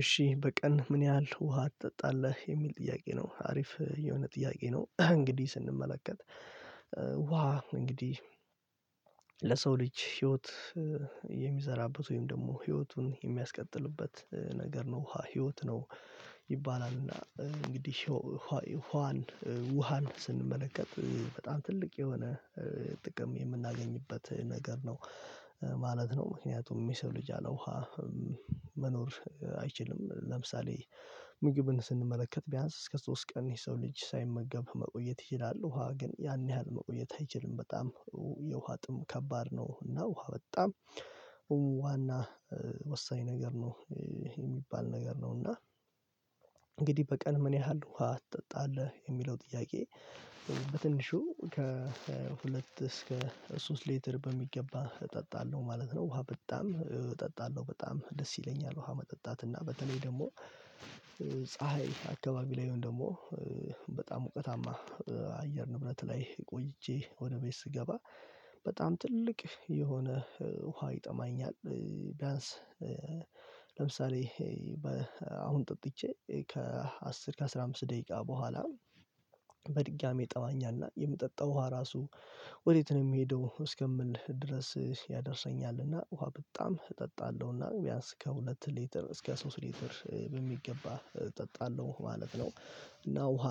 እሺ፣ "በቀን ምን ያህል ውሃ ትጠጣለህ?" የሚል ጥያቄ ነው። አሪፍ የሆነ ጥያቄ ነው። እንግዲህ ስንመለከት ውሃ እንግዲህ ለሰው ልጅ ህይወት የሚዘራበት ወይም ደግሞ ህይወቱን የሚያስቀጥልበት ነገር ነው፤ "ህይወት ነው" ይባላል። እና እንግዲህ ውሃን ስንመለከት፣ በጣም ትልቅ የሆነ ጥቅም የምናገኝበት ነገር ነው ማለት ነው፤ ምክንያቱም የሰው ልጅ ያለ ውሃ መኖር አይችልም። ለምሳሌ ምግብን ስንመለከት፣ ቢያንስ እስከ ሶስት ቀን የሰው ልጅ ሳይመገብ መቆየት ይችላል፤ ውሃ ግን ያን ያህል መቆየት አይችልም። በጣም የውሃ ጥም ከባድ ነው፤ እና ውሃ በጣም ዋና፣ ወሳኝ ነገር ነው የሚባል ነገር ነው፤ እና "እንግዲህ በቀን ምን ያህል ውሃ ትጠጣለህ?" የሚለው ጥያቄ በትንሹ ከሁለት እስከ ሶስት ሊትር በሚገባ እጠጣለሁ ማለት ነው። ውሃ በጣም እጠጣለሁ፤ በጣም ደስ ይለኛል ውሃ መጠጣት እና በተለይ ደግሞ ፀሀይ አካባቢ ላይ ይሁን፣ ደግሞ በጣም ሞቃታማ የአየር ንብረት ላይ ቆይቼ ወደ ቤት ስገባ በጣም ትልቅ የሆነ ውሃ ይጠማኛል፤ ቢያንስ ለምሳሌ አሁን ጠጥቼ፣ ከአስር እስከ ዐሥራ አምስት ደቂቃ በኋላ በድጋሚ ይጠማኛል፤ የምጠጣው ራሱ ወዴት ነው የሚሄደው እስከምል ድረስ ያደርሰኛል። እና ውሃ በጣም እጠጣለሁ፤ እና ቢያንስ ከሁለት ሊትር እስከ ሶስት ሊትር በሚገባ እጠጣለሁ ማለት ነው፤ እና ውሃ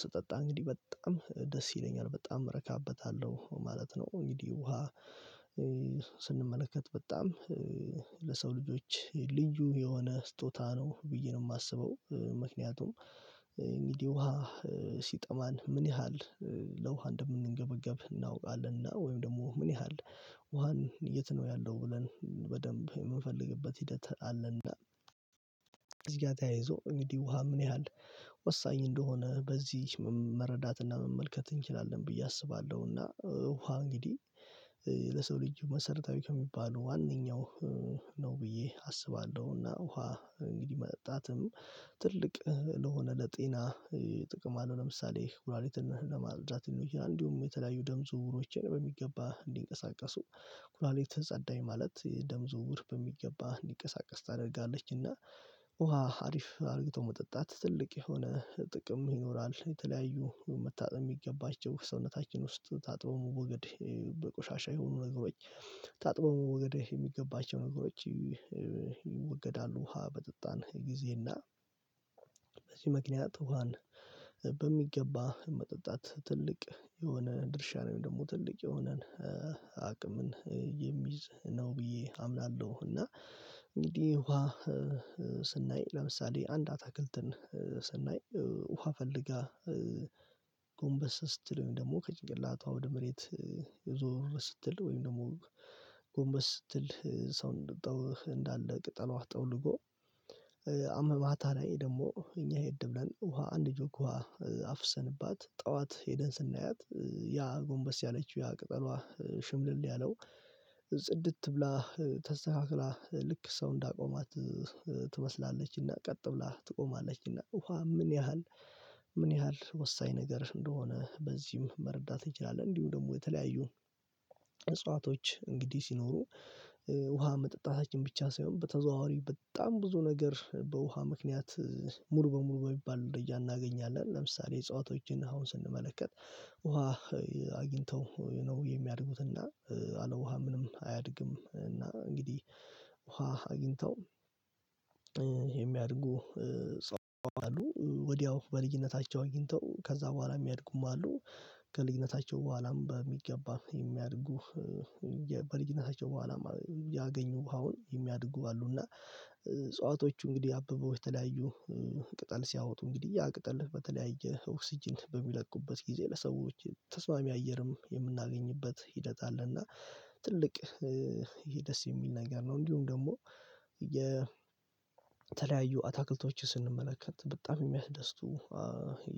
ስጠጣ እንግዲህ በጣም ደስ ይለኛል፤ በጣም እረካበታለሁ ማለት ነው። እንግዲህ ውሃ ስንመለከት በጣም ለሰው ልጆች ልጁ የሆነ ስጦታ ነው ብዬ ነው የማስበው ምክንያቱም እንግዲህ ውሃ ሲጠማን ምን ያህል ለውኃ እንደምንገበገብ እናውቃለንና ወይም ደግሞ ምን ያህል ውሃን፣ "የት ነው ያለው?" ብለን በደንብ የምንፈልግበት ሂደት አለና ከዚህ ጋር ተያይዞ እንግዲህ ውሃ ምን ያህል ወሳኝ እንደሆነ በዚህ መረዳትና መመልከት እንችላለን ብዬ አስባለሁ። እና ውሃ እንግዲህ ለሰው ልጅ መሰረታዊ ከሚባሉ ዋነኛው ነው ብዬ አስባለሁና ውሃ እንግዲህ መጠጣትም ትልቅ የሆነ ለጤና ጥቅም አለው፤ ለምሳሌ ኩላሊትን ለማጽዳት ነው፤ እንዲሁም የተለያዩ ደም ዝውውሮችን በሚገባ እንዲንቀሳቀሱ ኩላሊት ጸዳች ማለት ደም ዝውውር በሚገባ እንዲንቀሳቀስ ታደርጋለችና ውሃ አሪፍ አድርጎ መጠጣት ትልቅ የሆነ ጥቅም ይኖረዋል፤ የተለያዩ መታጠብ የሚገባቸው ሰውነታችን ውስጥ ታጥበው መወገድ ቆሻሻ የሆኑ ነገሮች ታጥበው መወገድ የሚገባቸው ነገሮች ይወገዳሉ ውሃ በጠጣን ጊዜ፤ እና በዚህ ምክንያት ውሃን በሚገባ መጠጣት ትልቅ የሆነ ድርሻ አለው፤ ደግሞ ትልቅ የሆነን አቅም የሚይዝ ነው ብዬ አምናለሁ። እንግዲህ ውሃ ስናይ፣ ለምሳሌ አንድ አትክልትን ስናይ ውሃ ፈልጋ ጎንበስ ስትል ወይም ደግሞ ከጭንቀት ላታው ወደ መሬት ዞር ስትል ወይም ደግሞ ጎንበስ ስትል ሰው እንደጣለው እንዳለ ቅጠሏ ጠውልጎ? ወደ ማታ ላይ ደግሞ እኛ ይሄድ ብለን ውሃ አንድ ጆግ ውሃ አፍሰንባት፣ ጠዋት ሄደን ስናያት ያ ጎንበስ ያለችው፣ ያ ቅጠሏ ሽምልል ያለው ጽድት ብላ፣ ተስተካክላ ልክ ሰው እንዳቆማት ትመስላለችና ቀጥ ብላ ትቆማለችና ውሃ ምን ያህል ምን ያህል ወሳኝ ነገር እንደሆነ በዚህም መረዳት ይቻላል፤ እንዲሁም ደግሞ የተለያዩ እጽዋቶች እንግዲህ ሲኖሩ ውሃ መጠጣታችን ብቻ ሳይሆን፣ በተዘዋዋሪ በጣም ብዙ ነገር በውኃ ምክንያት ሙሉ በሙሉ በሚባል ወደ እያንዳንዳችን እናገኛለን፤ ለምሳሌ እጽዋቶችን አሁን ስንመለከት ውሃ አግኝተው ነው የሚያድጉትና፣ ያለ ውሃ ምንም አያድግም እና እንግዲህ ውሃ አግኝተው የሚያድጉ እጽዋት አሉ፤ ወዲያው በልጅነታቸው አግኝተው ከዚያ በኋላ የሚያድጉም አሉ። ከልጅነታቸው በኋላም በሚገባ የሚያድጉ፣ በልጅነታቸው በኋላም ያገኙ ውሃውን የሚያድጉ አሉና እጽዋቶቹ እንግዲህ አብበው፣ የተለያዩ ቅጠል ሲያወጡ እንግዲህ ያ የቅጠሉ በተለያየ ኦክስጅን በሚለቁበት ጊዜ ለሰዎች ተስማሚ አየርም የምናገኝበት ሂደት እና ትልቅ ይሄ ደስ የሚል ነገር ነው፤ እንዲሁም ደግሞ የተለያዩ አትክልቶች ስንመለከት፣ በጣም የሚያስደስቱ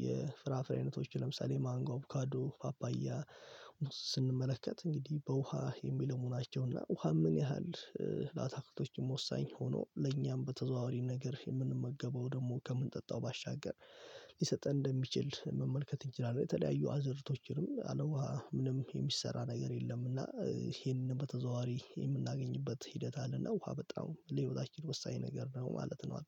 የፍራፍሬ አይነቶች ለምሳሌ ማንጎ፣ አቮካዶ፣ ፓፓያ ስንመለከት እንግዲህ በውኃ የሚለሙ መሆናቸውና ውሃ ምን ያህል ለአትክልቶችም ወሳኝ ሆኖ ለእኛም በተዘዋዋሪ ነገር የምንመገበው ደግሞ ከምንጠጣው ባሻገር ሊሰጥ እንደሚችል መመልከት እንችላለን፤ የተለያዩ አእዝሮቶችንም ያለ ውሃ ምንም የሚሰራ ነገር የለምና እና ይሄንን በተዘዋዋሪ የምናገኝበት ሂደት አለና ውሃ በጣም ለሁሉም ወሳኝ ነገር ነው ማለት ነው።